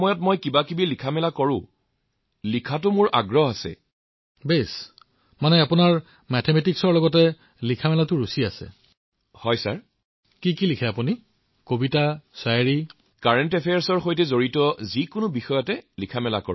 ডিগ্ৰীতো পাই যাব আপুনি যিহেতু আপুনি অতিশয় মেধাৱী